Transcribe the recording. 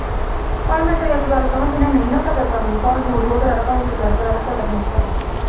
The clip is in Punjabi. ਪਰ ਤੈਨੂੰ ਇਕ ਗਲ ਕਹਾਵਾ ਜਿਨੇ ਕਦਰ ਨੀ ਕਰਨੀ ਉਹ ਉਪਰ ਚੜ ਕੇ ਰਹਿ ਲੈ ਉਹਨੇ ਕਦਰ ਨਈ ਕਰਨੀ